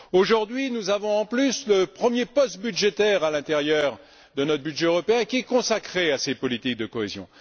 Aujourd'hui, nous avons en plus le premier poste budgétaire à l'intérieur de notre budget européen qui est consacré à ces politiques de cohésion.